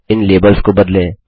इन labels को बदलें